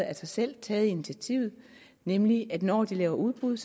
af sig selv taget initiativer nemlig at når de laver udbud